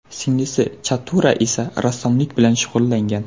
Singlisi Chatura esa rassomlik bilan shug‘ullangan.